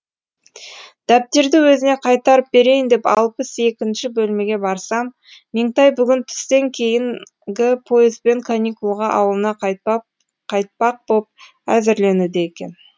дәптерді өзіне қайтарып берейін деп алпыс екінші бөлмеге барсам меңтай бүгін түстен кейінгі поезбен каникулға ауылына қайтпақ қайтпақ боп әзірленуде екен